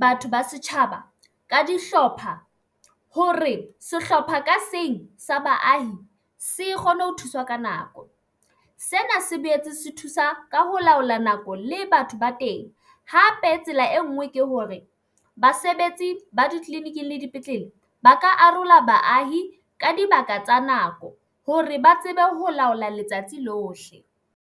batho ba setjhaba ka dihlopha hore sehlopha ka seng sa baahi se kgone ho thuswa ka nako, sena se boetse se thusa ka ho laola nako le batho ba teng. Hape tsela e nngwe ke hore basebetsi ba ditleliniking le dipetlele ba ka arola baahi ka dibaka tsa nako hore ba tsebe ho laola letsatsi lohle.